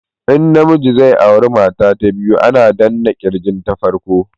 In na miji zai aura mata ta biyu ana danna kirgin ta farko